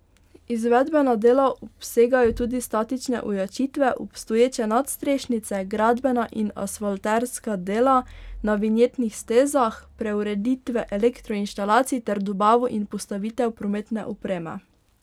Izvedbena dela obsegajo tudi statične ojačitve obstoječe nadstrešnice, gradbena in asfalterska dela na vinjetnih stezah, preureditve elektroinštalacij ter dobavo in postavitev prometne opreme.